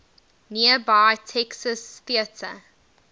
nearby texas theater